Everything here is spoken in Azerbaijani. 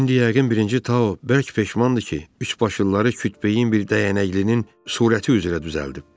İndi yəqin birinci Tao bərk peşmandır ki, üçbaşlıları kütbeyin bir dəyənəklinin surəti üzrə düzəldib.